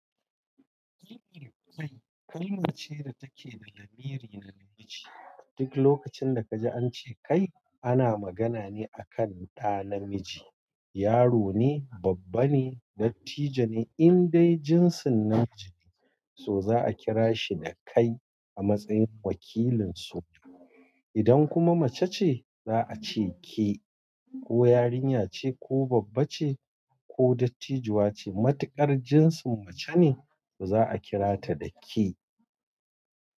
Kai, kai kalma ce da take da lamiri na namiji. Duk lokacin da kaji an ce kai ana magana ne akan ɗa namiji, yaro ne, babba ne, dattijo ne in dai jinsin namiji ne, so za a kira shi da kai a matsayin wakilin su. Idan kuma mace ce za a ce ke ko yarinya ce, ko babba ce, ko dattijuwa ce, matuƙar jinsin mace ne, to za a kira ta da ke.